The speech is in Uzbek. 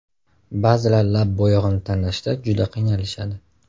Ba’zilar lab bo‘yog‘ini tanlashda juda qiynalishadi.